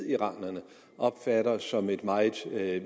iranerne opfatter som et meget